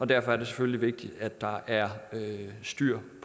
derfor er det selvfølgelig vigtigt at der er styr